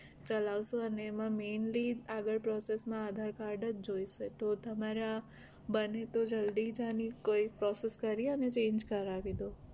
ચલાવશું ને અને એમાં mainly આગળ process માં aadhar card જ જોઇશે તો તમારા બને તો જલ્દી જ આની કોઈ process કરીને અને change કરાવી દો